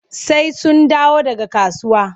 Sai sun dawo daga kasuwa.